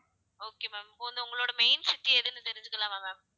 okay ma'am இப்போ வந்து உங்களோட main city எதுன்னு தெரிஞ்சுக்கலாமா ma'am